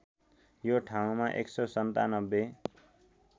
यो ठाउँमा १९७